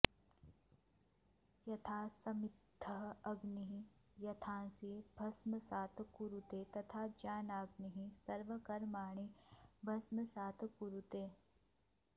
यथा समिद्धः अग्निः एधांसि भस्मसात् कुरुते तथा ज्ञानाग्निः सर्वकर्माणि भस्मसात् कुरुते